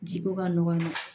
Ji ko ka nɔgɔn